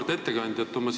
Auväärt ettekandja!